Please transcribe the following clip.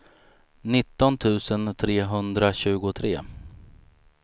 nitton tusen trehundratjugotre